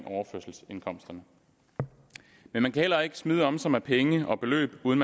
overførselsindkomsterne men man kan heller ikke smide om sig med penge og beløb uden